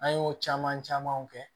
An y'o caman camanw kɛ